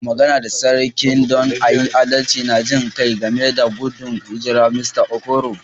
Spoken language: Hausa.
N'na magana da sarki don a yi adalci da jin kai game da gudun hijirar Mista Okoro.